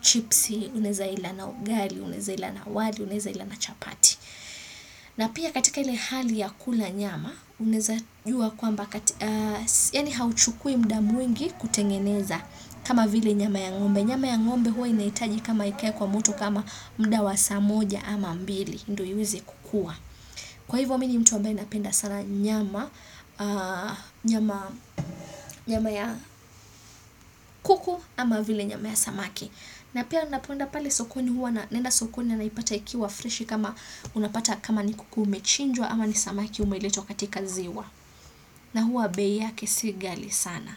chipsi, unaeza ila na ugali, unaeza ila na wali, unaeza ila na chapati. Na pia katika ile hali ya kula nyama, unaeza jua kwamba, yani hauchukui muda mwingi kutengeneza kama vile nyama ya ngombe. Nyama ya ngombe huwa inahitaji kama ikae kwa moto kama muda wa saa moja ama mbili, ndo iweze kukuwa. Kwa hivyo mi ni mtu ambaye napenda sana nyama ya kuku ama vile nyama ya samaki. Na pia napoenda pale sokoni huwa na naenda sokoni na naipata ikiwa freshi kama unapata kama ni kuku umechinjwa ama ni samaki umelitwa katika ziwa. Na huwa bei yake si gali sana.